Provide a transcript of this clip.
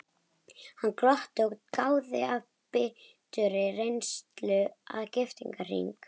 Hann glotti og gáði af biturri reynslu að giftingarhring.